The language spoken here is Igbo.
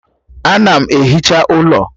Ana m ehicha ụlọ